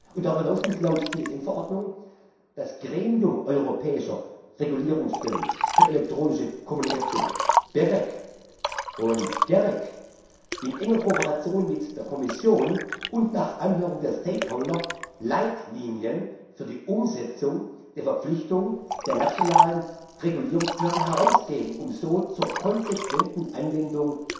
Und darüber hinaus muss laut TSM Verordnung das Gremium europäischer Regulierungsstellen für elektronische Kommunikation BEREC bzw. GEREK in enger Kooperation mit der Kommission und nach Anhörung der Stakeholder Leitlinien für die Umsetzung der Verpflichtung der nationalen Regulierungsbehörden herausgeben, um so zur konsequenten Anwendung